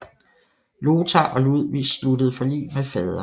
Lothar og Ludvig sluttede forlig med faderen